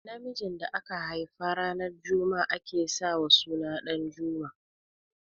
Namijin da aka haifa ranar juma'a ake sa wa suna Ɗanjuma